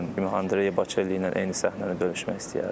Hətta Andrey Bocelli ilə eyni səhnəni bölüşmək istəyərdim.